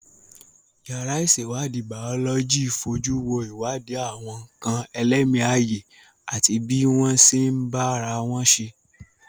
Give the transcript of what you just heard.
Yàrá ìṣèwádìí Bàọ́lọ́jì fojú wo ìwádìí àwọn nǹkan ẹlẹ́mìí ààyè àti bí wọ́n ṣe ń bá ara wọn ṣe